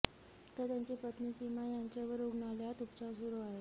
तर त्यांची पत्नी सीमा यांच्यावर रुग्णालयात उपचार सुरु आहेत